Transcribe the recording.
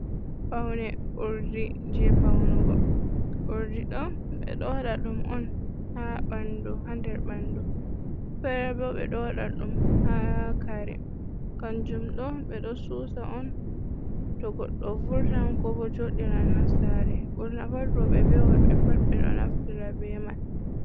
Paune urdi je panugo, urdi ɗo ɓeɗo waɗa ɗum on ha ɓandu ha nder ɓandu, fere bo ɓe ɗo waɗa ɗum ha kare kanjum ɗo ɓeɗo susa on to goɗɗo vurtan ko bo joɗiran ha sare ɓurna pat roɓɓe be worɓe ɓe pat ɓeɗo naftira be man.